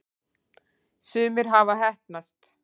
sumir hafa heppnast